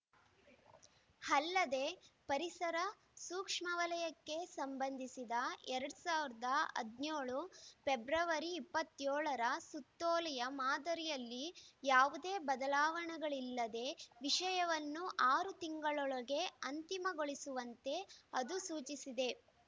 ಅಲ್ಲದೆ ಪರಿಸರ ಸೂಕ್ಷ್ಮ ವಲಯಕ್ಕೆ ಸಂಬಂಧಿಸಿದ ಎರಡ್ ಸಾವಿರದ ಹದಿನೇಳು ಇಪ್ಪತ್ತ್ ಏಳರ ಸುತ್ತೋಲೆಯ ಮಾದರಿಯಲ್ಲಿ ಯಾವುದೇ ಬದಲಾವಣೆಗಳಿಲ್ಲದೆ ವಿಷಯವನ್ನು ಆರು ತಿಂಗಳೊಳಗೆ ಅಂತಿಮಗೊಳಿಸುವಂತೆ ಅದು ಸೂಚಿಸಿದೆ